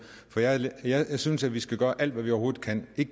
jeg synes at vi skal gøre alt hvad vi overhovedet kan vi